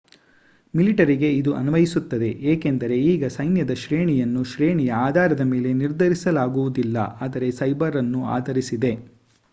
ಮಿಲಿಟರಿಗೆ ಇದು ಅನ್ವಯಿಸುತ್ತದೆ ಏಕೆಂದರೆ ಈಗ ಸೈನ್ಯದ ಶ್ರೇಣಿಯನ್ನು ಶ್ರೇಣಿಯ ಆಧಾರದ ಮೇಲೆ ನಿರ್ಧರಿಸಲಾಗುವುದಿಲ್ಲ ಆದರೆ ಸೇಬರ್ ಅನ್ನು ಆಧರಿಸಿದೆ